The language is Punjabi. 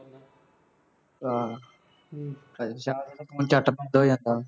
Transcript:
ਹਾਂ ਅੱਛਾ ਹੁਣ ਝੱਟਪੱਟ ਹੋ ਜਾਂਦਾ